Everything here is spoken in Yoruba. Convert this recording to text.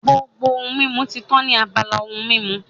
Gbogbo ohun mímu ti tán ní abala ohun mímu